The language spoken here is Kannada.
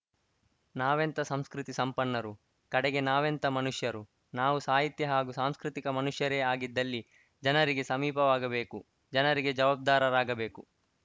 ನಾವೆಂಥ ಸಂಸ್ಕೃತಿ ಸಂಪನ್ನರು ಕಡೆಗೆ ನಾವೆಂಥ ಮನುಷ್ಯರು ನಾವು ಸಾಹಿತ್ಯ ಹಾಗೂ ಸಾಂಸ್ಕೃತಿಕ ಮನುಷ್ಯರೇ ಆಗಿದ್ದಲ್ಲಿ ಜನರಿಗೆ ಸಮೀಪವಾಗಬೇಕು ಜನರಿಗೆ ಜವಬ್ದಾರರಾಗಬೇಕು